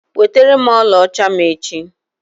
Weterem ọlaọcha m echi!